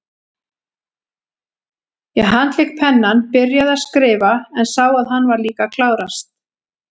Ég handlék pennann, byrjaði að skrifa, en sá að hann var líka að klárast.